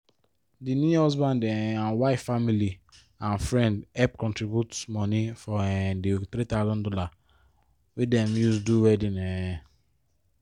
the new husband um and wife family and friend help contribute moni for um the three thousand dollars wey dem use do wedding um